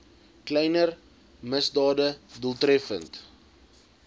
kleiner misdade doeltreffend